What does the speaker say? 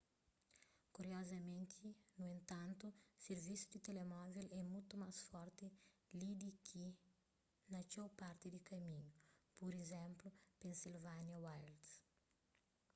kuriozamenti nu entantu sirvisu di telemóvel é mutu más forti li di ki na txeu parti di kaminhu pur izénplu pennsylvania wilds